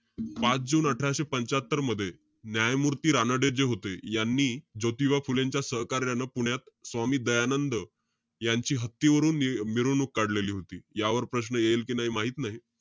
पाच जुने अठराशे पंच्यात्तर मध्ये, न्यायमूर्ती रानडे जे होते, यांनी ज्योतिबा फुलेंच्या सहकार्यानं पुण्यात स्वामी दयानंद यांची हत्तीवरून मिरवणक काढलेली होती. यावर प्रश्न येईल कि नाई माहित नाई.